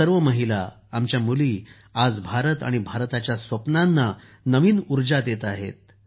अशा सर्व महिला आमच्या मुली आज भारत आणि भारताच्या स्वप्नांना नवीन ऊर्जा देत आहेत